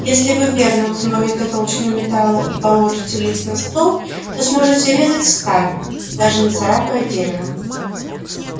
если вы верно установите толщину металла и положите лист на стол то сможете резать сталь даже не царапая дерева